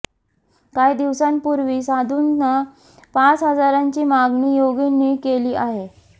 काही दिवसांपूर्वी साधूंना पाच हजारांची मागणी योगींनी केली आहे